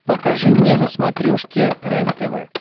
покажи мне на смотрешке рентв